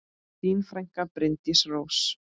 Þín frænka, Bryndís Rós.